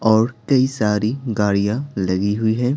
और कई सारी गाड़ियां लगी हुई हैं।